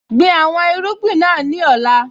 Gbin àwọn irúgbìn náà ní ọ̀la.